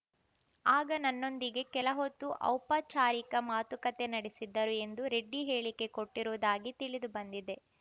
ಆಗ ನನ್ನೊಂದಿಗೆ ಕೆಲ ಹೊತ್ತು ಔಪಾಚಾರಿಕ ಮಾತುಕತೆ ನಡೆಸಿದ್ದರು ಎಂದು ರೆಡ್ಡಿ ಹೇಳಿಕೆ ಕೊಟ್ಟಿರುವುದಾಗಿ ತಿಳಿದು ಬಂದಿದೆ